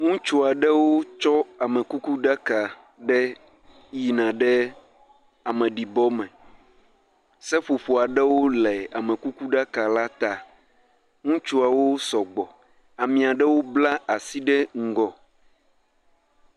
Ŋutsu aɖewo tsɔ amekukuɖaka ɖe yina ɖe ameɖibɔme, seƒoƒo aɖewo le amekukuɖaka la ta, ŋutsuawo sɔgbɔ, ame aɖewo bla asi ɖe ŋgɔ.